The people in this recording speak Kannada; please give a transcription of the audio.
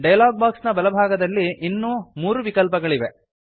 ಡಯಲಾಗ್ ಬಾಕ್ಸ್ ನ ಬಲಭಾಗದಲ್ಲಿ ಇನ್ನೂ ಮೂರು ವಿಕಲ್ಪಗಳಿವೆ